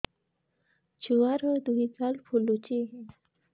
ଛୁଆର୍ ଦୁଇ ଗାଲ ଫୁଲିଚି